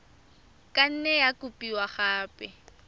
ka nne ya kopiwa gape